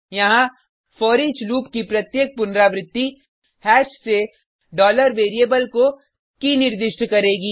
यहाँ foreach loop की प्रत्येक पुनरावृति हैश से variable को के निर्दिष्ट करेगी